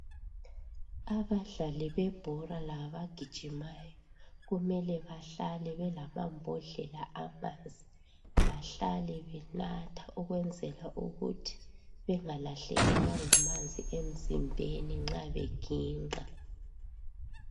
abadlalibebhola labagijimayo kumelebahlale belamambodlela amanzi bahlale benatha ukwenzelaukuthi bengalahlekelwa ngamanzi emzimbeni nxa beginqa